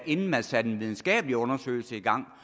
inden man satte en videnskabelig undersøgelse i gang